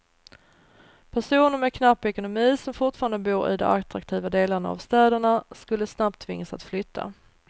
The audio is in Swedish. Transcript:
Personer med knapp ekonomi som fortfarande bor i de attraktiva delarna av städerna skulle snabbt tvingas att flytta.